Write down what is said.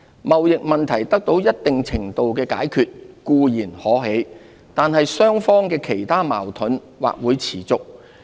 貿易問題得到一定程度的解決固然可喜，但雙方的其他矛盾或會持續。